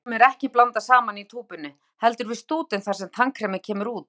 Litunum er ekki blandað saman í túpunni, heldur við stútinn þar sem tannkremið kemur út.